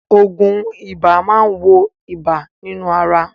Òògùn ibà máa wo ibà nínú ara.